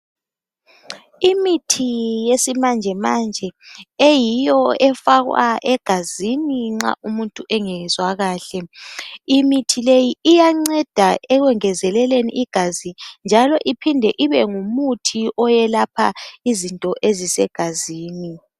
Imithi yesimanje manje eyiyo efakwa egazini nxa umuntu engezwa kahle imithi le iyanceda ekungenzeleleni igazi iphinde ibe ngumuthi owelapha izinto ezisegazi